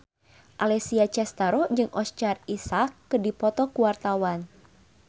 Alessia Cestaro jeung Oscar Isaac keur dipoto ku wartawan